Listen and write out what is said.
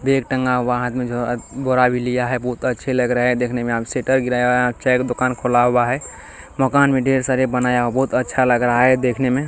Bag टंगा हुआ है हाथ में झो बोरा भी लिया है बहुत अच्छे लग रहे है देखने में यहां पे शटर गिराया चाय का दुकान खोला हुआ है मकान भी ढेर सारे बनाया बहुत अच्छा लग रहा है देखने में।